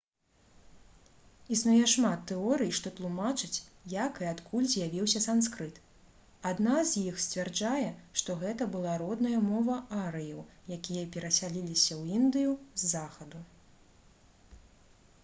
існуе шмат тэорый што тлумачаць як і адкуль з'явіўся санскрыт адна з іх сцвярджае што гэта была родная мова арыеў якія перасяліліся ў індыю з захаду